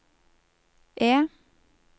E